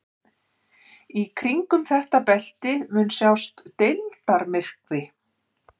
Í kringum þetta belti mun sjást deildarmyrkvi.